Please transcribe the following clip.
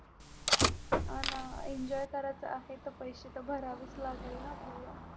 अन Enjoy करायचा आहे तर पैसे तर भरावेच लागेल ना आपल्याला.